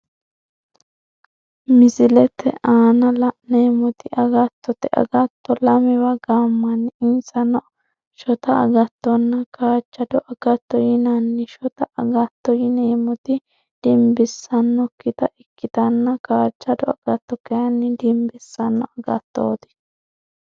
Misilete aanna la'neemoti agattote agatto lamewa gaamanni insano shota agatonna kaajado agatto yinnanni shotta agatto yineemoti dinbisanokita ikitanna kaajado agatto kayinni dinbisano agattoti.